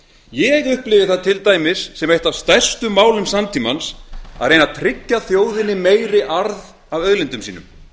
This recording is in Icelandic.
ég upplifi það til dæmis sem eitt af stærstu málum samtímans að reyna að tryggja þjóðinni meiri arð af auðlindum sínum